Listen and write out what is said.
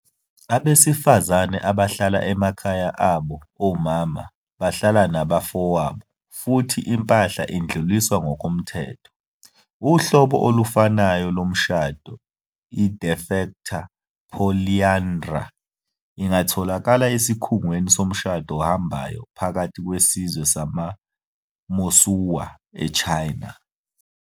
Abesifazane bahlala emakhaya abo omama, bahlala nabafowabo, futhi impahla idluliswa ngokomthetho. Uhlobo olufanayo lomshado, i-de facto polyandry ingatholakala esikhungweni somshado ohambayo phakathi kwesizwe samaMosuo eChina.